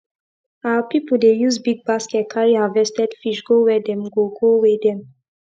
our people dey use big basket carry harvested fish go where dem go go weigh them